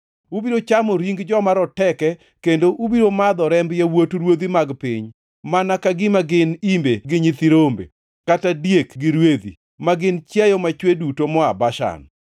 Ubiro chamo ring joma roteke kendo ubiro madho remb yawuot ruodhi mag piny, mana ka gima gin imbe gi nyithi rombe, kata diek gi rwedhi, ma gin chiayo machwe duto moa Bashan.